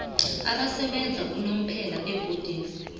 abasebenza unomphela ebhodini